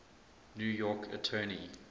new york attorney